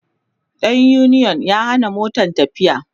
ɗan uniyon ya Hana Motan tafiya